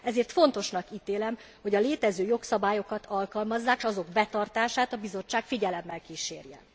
Ezért fontosnak ítélem, hogy a létező jogszabályokat alkalmazzák, s azok betartását a Bizottság figyelemmel kísérje.